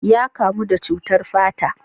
Ya kamu da cutar fata.